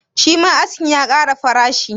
Shima askin ya kara farashi?